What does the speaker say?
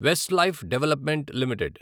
Westlife development limited